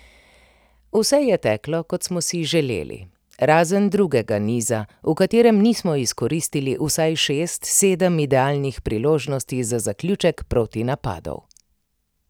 Vse je teklo, kot smo si želeli, razen drugega niza, v katerem nismo izkoristili vsaj šest, sedem idealnih priložnosti za zaključek protinapadov.